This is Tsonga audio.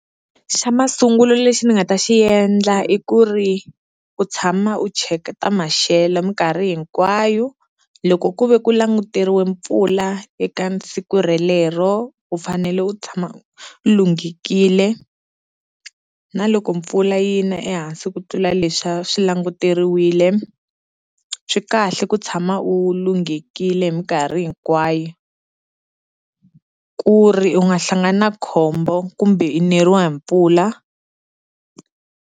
Xa masungulo lexi ni nga ta xi endla i ku ri u tshama u cheka ta maxelo minkarhi hinkwayo, loko ku ve ku languteriwe mpfula eka siku relero u fanele u tshama u lunghekile. Na loko mpfula yi na ehansi ku tlula leswiya swi languteriwile swi kahle ku tshama u lunghekile hi minkarhi hinkwayo, ku ri u nga hlangani na khombo kumbe i neriwa hi mpfula.